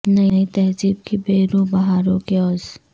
نئی تہذیب کی بے روح بہاروں کے عوض